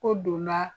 Ko donna